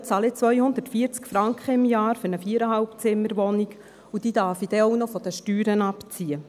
Aktuell zahle ich 240 Franken pro Jahr für eine 4,5-Zimmer-Wohnung, und diese darf ich dann auch noch von den Steuern abziehen.